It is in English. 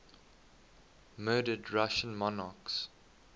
murdered russian monarchs